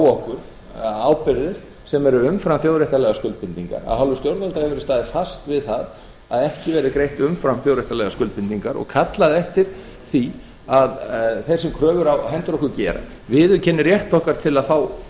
á okkur ábyrgðir sem eru umfram þjóðréttarlegar skuldbindingar af hálfu stjórnvalda hefur verið staðið fast við það að ekki verði greitt umfram þjóðréttarlegar skuldbindingar og kallað eftir því að þeir sem kröfur á hendur okkar gera viðurkenni rétt okkar til að fá